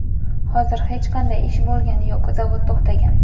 Hozir hech qanday ish bo‘lgani yo‘q, zavod to‘xtagan.